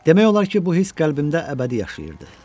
Demək olar ki, bu hiss qəlbimdə əbədi yaşayırdı.